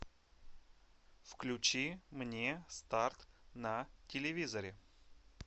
включи мне старт на телевизоре